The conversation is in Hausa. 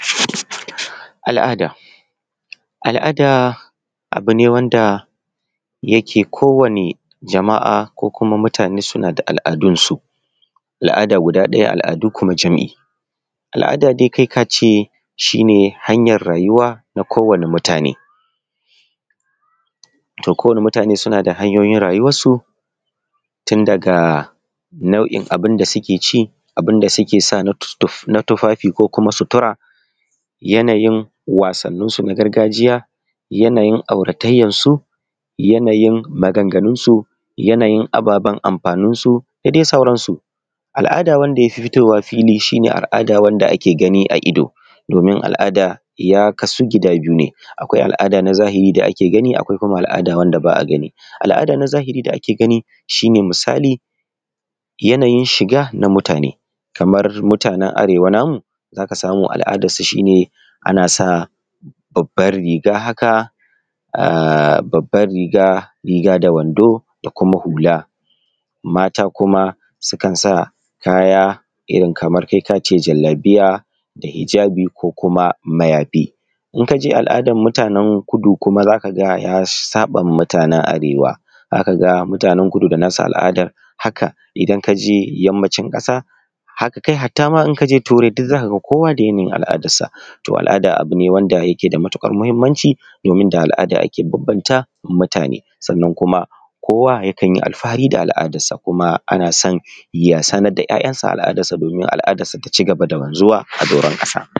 Al'ada, al'ada abu ne wanda yake kowane jama'a ko mutane suna da al'adunsu. Al'ada guda ɗaya, al'adu kuma jam'i. Al'ada dai kai ka ce shi ne hanyar rayuwa na kowane mutane, kowane mutane suna da hanyoyin rayuwarsu tun daga nau'in abun da suke ci da abun da suke sawa na tufafi ko situra, yanayin wasanninsu na gargajiya yanayin auratayyansu, yanayin maganganunsu yanayin ababen amfaninsu da dai sauransu. Al'ada wanda ya fi fitowa fili shi ne al'ada wanda ake gani a ido. Domin al'ada ya kadu gida biyu ne: akwai al'ada ta zahiri da ake gani, akwai al'ada wanda ba a gani. Al'ada na zahiri dake gani shi ne, misali yanayin shiga na mutane. Kamar mutane na Arewa namu za ka ga ana sa babban riga haka, riga da wanda da kuma hula. Mata kuma sukan sa kaya irin kamar kai ka ce jallabiya da hijjabi ko kuma mayafi. Idan ka je al'adan mutanen Kudu kuma sun saɓa wa mutanen Arewa za ka aga mutanen Kudu da nasu al'adar. Haka idan ka je yammacin ƙasa, haka dai har ta ma in ka je turai za ka ga kowa da irin tasa al'adarsa. To al'ada abu ne wanda yake da matukar muhimmanci domin da al'ada ake bambanta mutane. Sannan kuma kowa yakan yi alfahari da al'adar sa kuma ana son ya sanar da 'ya'yansa al'adar sa, domin al'adar sa ta ci gaba da wanzuwa a doron ƙasa.